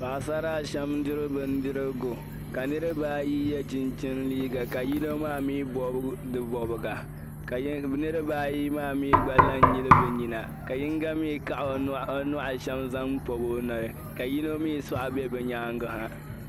Paɣasara a shɛm n-diri bindirigu ka niriba ayi yɛ chinchini liiga ka yino maa mi bobi di bobiga. Ka niriba ayi yi mi la n-nyili bi nyina ka yinga mi kaɣi o nua a shɛm zaŋ pɔb o noli, ka yino mi soɣa bɛ bi nyaanga.